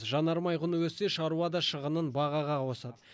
жанармай құны өссе шаруа да шығынын бағаға қосады